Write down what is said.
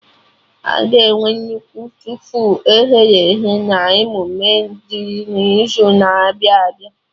Aga enwe nnukwu tofu e ghere eghe na emume dị n'izu na-abịa abịa